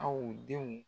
Aw denw